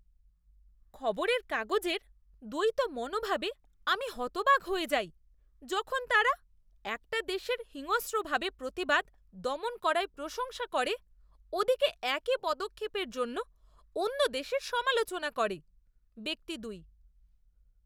খবরেরকাগজের দ্বৈত মনোভাবে আমি হতবাক হয়ে যাই যখন তারা একটা দেশের হিংস্রভাবে প্রতিবাদ দমন করায় প্রশংসা করে ওদিকে একই পদক্ষেপের জন্য অন্য দেশের সমালোচনা করে। ব্যক্তি দুই